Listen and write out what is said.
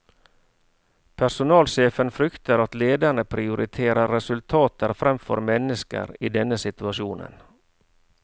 Personalsjefen frykter at lederne prioriterer resultater fremfor mennesker i denne situasjonen.